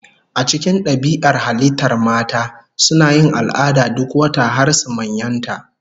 A cikin dabi'ar halittar mata, suna yin al'ada duk wata har su manyanta.